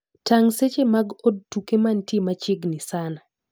Tang seche mag od tuke mantie machiegni sana.